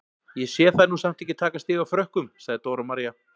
Ég sé þær nú samt ekki taka stig af Frökkum, sagði Dóra María.